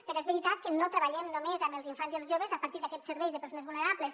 però és veritat que no treballem només amb els infants i els joves a partir d’aquests serveis de persones vulnerables